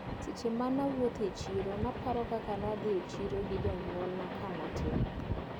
Seche mane awuotho e chiro naparo kaka nadhi e chiro gi jonyuolna kanatin.